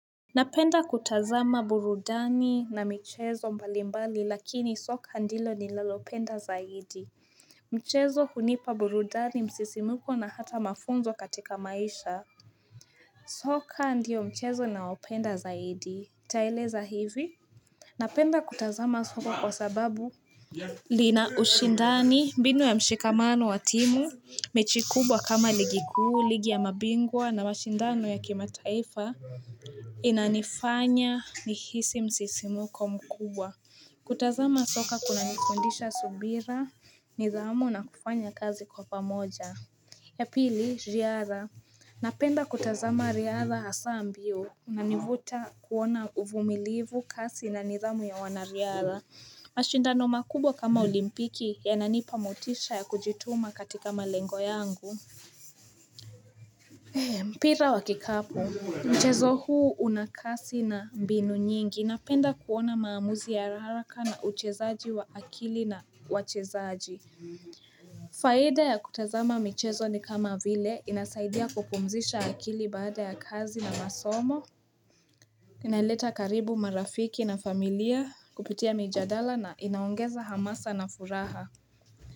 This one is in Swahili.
Napenda kutazama burudani na mchezo mbalimbali lakini soka ndilo ni nalopenda zaidi mchezo hunipa burudani msisimuko na hata mafunzo katika maisha soka ndio mchezo naopenda zaidi ntaeleza hivi napenda kutazama soka kwa sababu lina ushindani mbinu ya mshikamano wa timu mechi kubwa kama ligi kuu, ligi ya mabingwa na mashindano ya kimataifa inanifanya nihisi msisimuko mkubwa. Kutazama soka kuna nifundisha subira, nidhamu na kufanya kazi kwa pamoja. Ya pili, riadha. Napenda kutazama riadha asa mbio unanivuta kuona uvumilivu kasi na nidhamu ya wanariadha. Mashindano makubwa kama olimpiki yananipa motisha ya kujituma katika malengo yangu Pira wakikapu, mchezo huu unakasi na mbinu nyingi napenda kuona maamuzi ya haraka na uchezaji wa akili na wachezaji Faida ya kutazama michezo ni kama vile inasaidia kupumzisha akili baada ya kazi na masomo Inaleta karibu marafiki na familia kupitia mijadala na inaongeza hamasa na furaha.